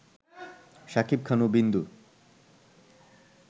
শাকিব খান ও বিন্দু